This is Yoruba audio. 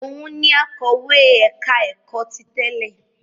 Òun ni akọ̀wé ẹ̀ka-ẹ̀kọ́ ti tẹ́lẹ̀?